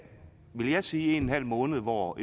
vil jeg sige en en halv måned hvor